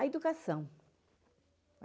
A educação.